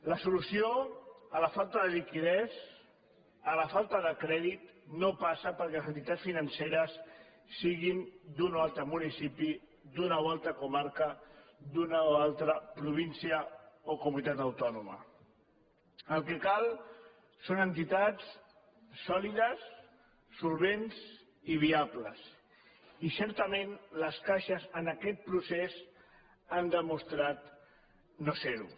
la solució a la falta de liquiditat a la falta de crèdit no passa perquè les entitats financeres siguin d’un o altre municipi d’una o altra comarca d’una o altra provín·cia o comunitat autònoma el que cal són entitats sòli·des solvents i viables i certament les caixes en aquest procés han demostrat no ser·ho